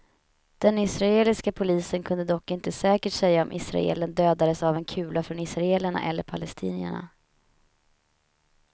Den israeliska polisen kunde dock inte säkert säga om israelen dödades av en kula från israelerna eller palestinierna.